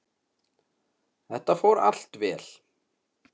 Þetta fór allt vel.